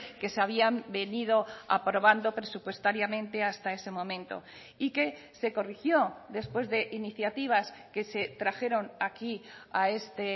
que se habían venido aprobando presupuestariamente hasta ese momento y que se corrigió después de iniciativas que se trajeron aquí a este